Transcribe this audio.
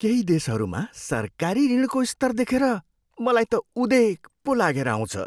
केही देशहरूमा सरकारी ऋणको स्तर देखेर मलाई त उदेक पो लागेर आउँछ।